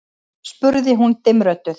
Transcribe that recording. spurði hún dimmrödduð.